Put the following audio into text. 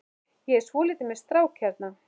Ég er svolítið með strák hérna.